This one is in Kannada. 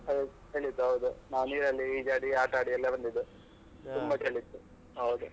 ಹೌದ್ ಚಳಿ ಇತ್ತು ಹೌದು. ನಾವ್ ನೀರಲ್ಲಿ ಈಜಾಡಿ, ಆಟಾಡಿ ಎಲ್ಲಾ ಬಂದಿದ್ದು. ತುಂಬಾ ಚಳಿ ಇತ್ತು, ಅವಾಗ.